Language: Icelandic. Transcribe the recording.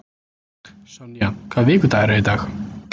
Sonja, hvaða vikudagur er í dag?